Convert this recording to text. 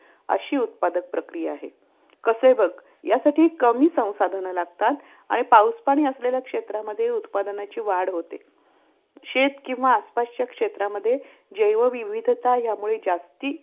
अशी उत्पादन प्रक्रिया आहे. कसे बघ यासाठी कमी संसाधनं लागतात. आणि पाऊस पाणी असलेल्या क्षेत्रामध्ये उत्पादनाची वाढ होते. शेत किंवा आसपासच्या क्षेत्रामध्ये जैव विविधता यामुळे जास्ती